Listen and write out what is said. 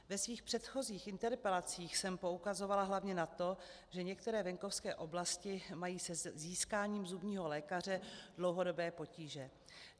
Ve svých předchozích interpelacích jsem poukazovala hlavně na to, že některé venkovské oblasti mají se získáním zubního lékaře dlouhodobé potíže.